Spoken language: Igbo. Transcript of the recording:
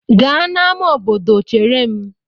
Gaa n'amá obodo chere m!